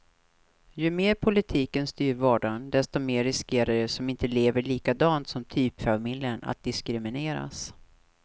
Ju mer politiken styr vardagen, desto mer riskerar de som inte lever likadant som typfamiljen att diskrimineras.